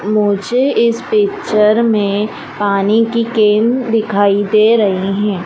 मुझे इस पिक्चर में पानी की केन दिखाई दे रहे हैं।